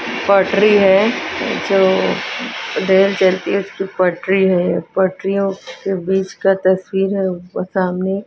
पटरी है जो रेल चलती है उसकी पटरी है पटरींयो के बीच का तस्वीर है ऊप सामने--